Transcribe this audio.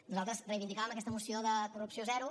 nosaltres reivindicàvem aquesta moció de corrupció zero